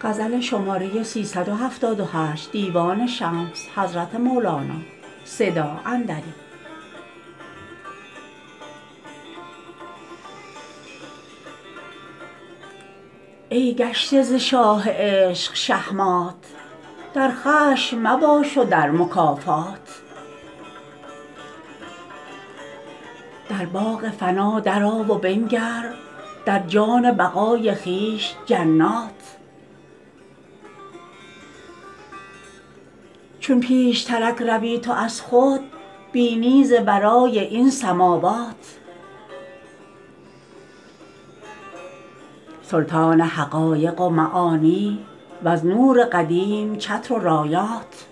ای گشته ز شاه عشق شهمات در خشم مباش و در مکافات در باغ فنا درآ و بنگر در جان بقای خویش جنات چون پیشترک روی تو از خود بینی ز ورای این سماوات سلطان حقایق و معانی وز نور قدیم چتر و رایات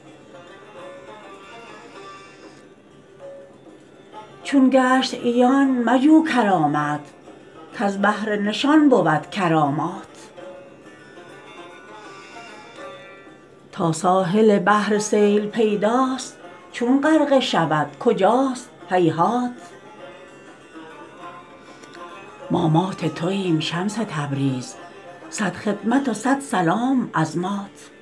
چون گشت عیان مجو کرامت کز بهر نشان بود کرامات تا ساحل بحر سیل پیداست چون غرقه شود کجاست هیهات ما مات تویم شمس تبریز صد خدمت و صد سلام از مات